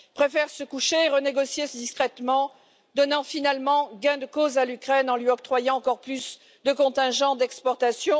préfère se coucher et renégocier discrètement, donnant finalement gain de cause à l'Ukraine en lui octroyant encore plus de contingents d'exportation.